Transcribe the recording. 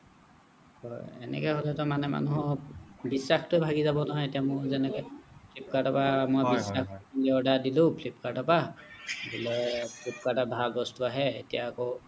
হয় এনেকৈ হ'লেটো মানে মানুহক বিশ্বাসটোৱে ভাঙি যাব নহয় এতিয়া মোৰ যেনেকে flipkart order দিলোঁ flipkart ৰ পৰা বোলে flipkart ৰ ভাল বস্তু আহে এতিয়া আকৌ